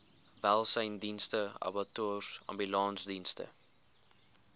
welsynsdienste abattoirs ambulansdienste